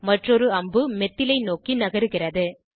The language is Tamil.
மற்றொரு அம்பு மெத்தில் ஐ நோக்கி நகருகிறது